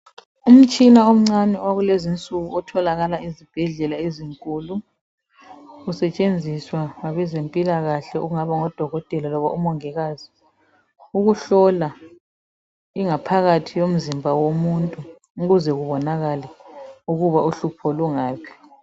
Umtshina omncani owakulezinsuku otholakala ezibhedlela ezinkulu usetshenziswa ngabezempilakahle okungaba ngodokoteka loba omongikazi ukuhlola ingaphakathi yomzimba womuntu ukuze kubonakale ukuba uhlupho lungaphi